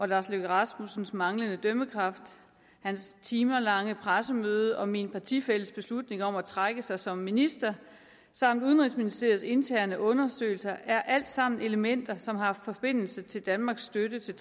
lars løkke rasmussens manglende dømmekraft hans timelange pressemøde og min partifælles beslutning om at trække sig som minister samt udenrigsministeriets interne undersøgelser er alt sammen elementer som har forbindelse til danmarks støtte til